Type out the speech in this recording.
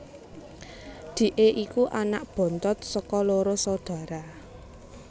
Dhike iku anak bontot saka loro saudara